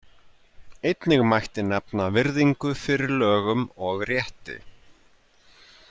Einnig mætti nefna virðingu fyrir lögum og rétti.